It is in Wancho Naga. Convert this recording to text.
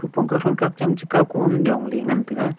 phongakao thongkao cham chika kon jong le ngan taiga.